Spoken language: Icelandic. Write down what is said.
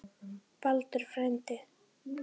Baldur frændi.